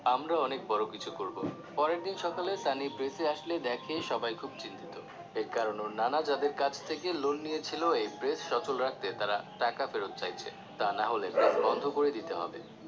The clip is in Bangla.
আমরা অনেক বড় কিছু করবো পরের দিন সকালে সানি press এ আসলে দেখে সবাই খুব চিন্তিত এর কারণ ওর নানা যাদের কাছ থেকে loan নিয়েছিলো এই press সচল রাখতে তাঁরা টাকা ফেরত চাইছে তা না হলে press বন্ধ করে দিতে হবে